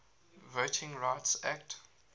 voting rights act